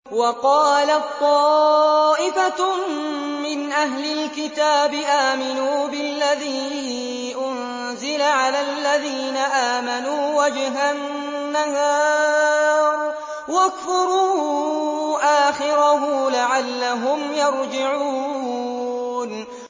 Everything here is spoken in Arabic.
وَقَالَت طَّائِفَةٌ مِّنْ أَهْلِ الْكِتَابِ آمِنُوا بِالَّذِي أُنزِلَ عَلَى الَّذِينَ آمَنُوا وَجْهَ النَّهَارِ وَاكْفُرُوا آخِرَهُ لَعَلَّهُمْ يَرْجِعُونَ